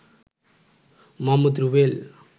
Mohammad Rubel